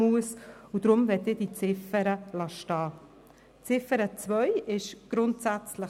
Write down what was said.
Deshalb möchte ich diese Ziffer stehen lassen.